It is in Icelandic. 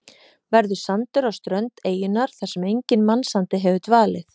Verður sandur á strönd eyjunnar þar sem enginn mannsandi hefur dvalið.